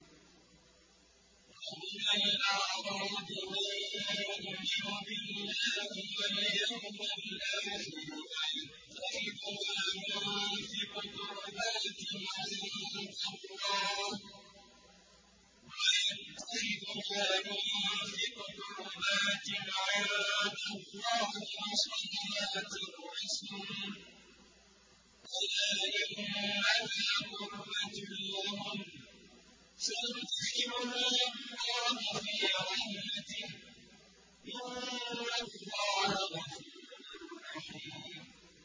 وَمِنَ الْأَعْرَابِ مَن يُؤْمِنُ بِاللَّهِ وَالْيَوْمِ الْآخِرِ وَيَتَّخِذُ مَا يُنفِقُ قُرُبَاتٍ عِندَ اللَّهِ وَصَلَوَاتِ الرَّسُولِ ۚ أَلَا إِنَّهَا قُرْبَةٌ لَّهُمْ ۚ سَيُدْخِلُهُمُ اللَّهُ فِي رَحْمَتِهِ ۗ إِنَّ اللَّهَ غَفُورٌ رَّحِيمٌ